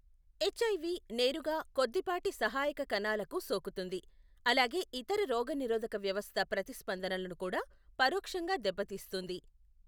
HIV నేరుగా కొద్దిపాటి సహాయక కణాలకు సోకుతుంది, అలాగే ఇతర రోగనిరోధక వ్యవస్థ ప్రతిస్పందనలను కూడా పరోక్షంగా దెబ్బతీస్తుంది.